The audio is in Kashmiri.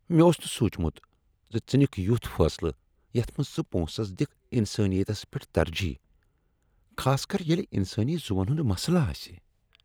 مےٚ اوس نہٕ سونچمت زِ ژٕ نِکھ یُتھ فٲصلہٕ یتھ منٛز ژٕ پونسس دِکھ انسٲنیتس پیٹھ ترجیح، خاص کر ییلِہ انسٲنی زوون ہُند مسلہ آسہِ ۔